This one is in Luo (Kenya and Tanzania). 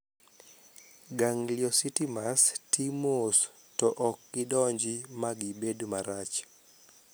Gangliocytomas ti mos to okgidongi magibed marach.